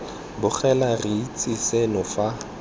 bogela re itse seno fa